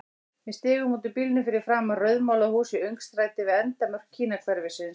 Við stigum út úr bílnum fyrir framan rauðmálað hús í öngstræti við endamörk Kínahverfisins.